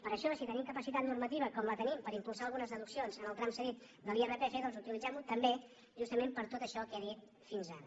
per això si tenim capacitat normativa com la tenim per impulsar algunes deduccions en el tram cedit de l’irpf doncs utilitzem·ho també justament per tot això que he dit fins ara